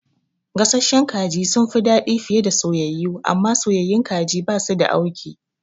Gasasshen kaji sunfi dadi fiye da soyayyu, amma soyayyun kaji basu da auki